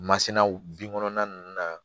Masinaw binkɔnɔna ninnu na